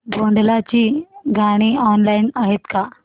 भोंडला ची गाणी ऑनलाइन आहेत का